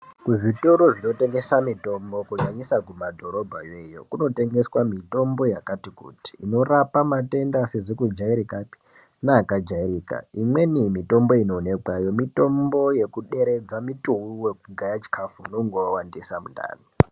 Kuzvitoro zvinotengesa mitombo kunyanyisa mumadhorobha yoiyo kunotengeswa mitombo yakati kuti inorapa matenda asizi kujairikapi neaka jairika imweni yemitombo inoonekwayo mitombo yekuderedza muturu wekugaya chikafu unenge wawandisa mundani.